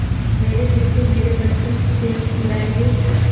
मेरे पीछे मेरे बच्चे चैन उड़ायेंगे